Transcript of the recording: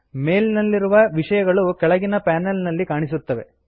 ಮೇಲ್ ನಲ್ಲಿರುವ ವಿಷಯಗಳು ಕೆಳಗಿನ ಪನೆಲ್ ನಲ್ಲಿ ಕಾಣಿಸುತ್ತವೆ